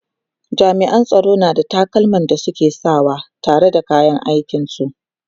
jami'an tsaro na da takalman da suke Saka wa tare da kayan aikin su